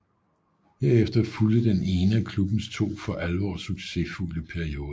Herefter fulgte den ene af klubbens to for alvor succesfulde perioder